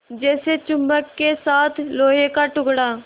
जैसे चुम्बक के साथ लोहे का टुकड़ा